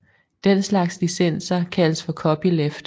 Den slags licenser kaldes for Copyleft